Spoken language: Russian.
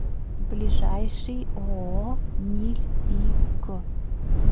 ближайший ооо ниль и к